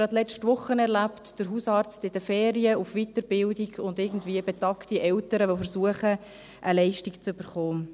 Gerade letzte Woche habe ich es erlebt, als der Hausarzt in den Ferien, an einer Weiterbildung war, und betagte Eltern, die versuchen eine Leistung zu bekommen.